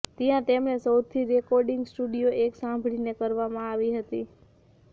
ત્યાં તેમણે સૌથી રેકોર્ડીંગ સ્ટુડીઓ એક સાંભળીને કરવામાં આવી હતી